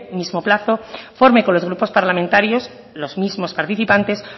mismo plazo forme con los grupos parlamentarios los mismos participantes